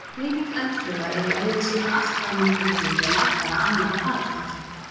Hreyfing eldflauga er í eðli sínu allt önnur en flugvéla eða annarra farartækja.